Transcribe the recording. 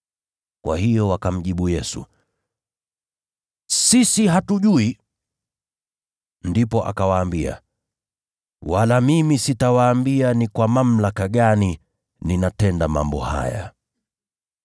Kwa hiyo wakamjibu Yesu, “Sisi hatujui.” Naye akawaambia, “Wala mimi sitawaambia ni kwa mamlaka gani ninatenda mambo haya.”